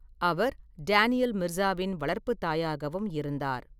அவர் Daniel மிர்சாவின் வளர்ப்புத் தாயாகவும் இருந்தார்.